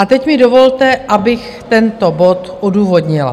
A teď mi dovolte, abych tento bod odůvodnila.